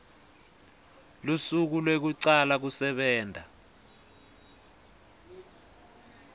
lusuku lwekucala kusebenta